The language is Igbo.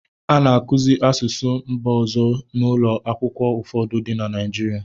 A na-akụzi asụsụ mba ọzọ n'ụlọ akwụkwọ ụfọdụ dị na Naịjirịa.